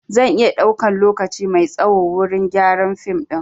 Zan iya ɗaukan lokaci mai tsaho wurin gyaran fim ɗin